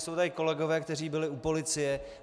Jsou tady kolegové, kteří byli u policie.